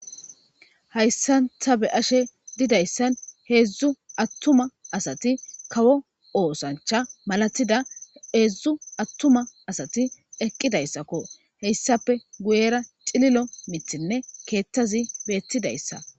Hayssanta be ashe didayssan heedzdzu attuma asati kawo oosancha malatida eedzdzu attuma asati eqqidayssakko heyssape guyera cililo mithinne keettazi beettidayssa